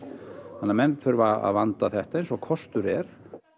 þannig að menn þurfa að vanda þetta eins og kostur er